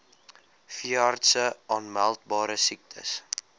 veeartse aanmeldbare siektes